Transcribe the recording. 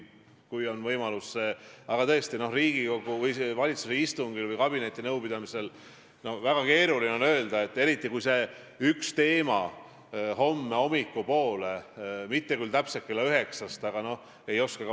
Ja kui ma eelmisel nädalal siin ühe eelnõu kaitsmisel olin ja siinset debatti kuulasin, jäi mulle mulje, et vähemalt üks erakond siin saalis ei saa ikka veel aru, et ta ei ole enam valitsuses, ja ei oska selles olukorras kuidagi käituda.